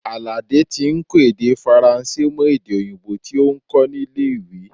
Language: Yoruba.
Alade tí ń kọ́ èdè Faransé mọ èdè òyìnbó tí ó ń kó nílé ìwé.